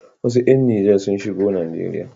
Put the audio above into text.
Wasu ƴan Nijar sun shigo Najeriya.